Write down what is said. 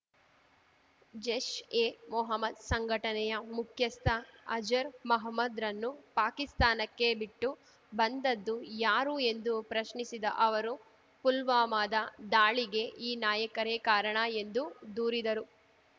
ಜೈಷ್ ಎ ಮೊಹಮ್ಮದ್ ಸಂಘಟನೆಯ ಮುಖ್ಯಸ್ಥ ಅಜರ್ ಮಹಮ್ಮದ್ ರನ್ನು ಪಾಕಿಸ್ತಾನಕ್ಕೆ ಬಿಟ್ಟು ಬಂದದ್ದು ಯಾರು ಎಂದು ಪ್ರಶ್ನಿಸಿದ ಅವರು ಪುಲ್ವಾಮದ ದಾಳಿಗೆ ಈ ನಾಯಕರೇ ಕಾರಣ ಎಂದು ದೂರಿದರು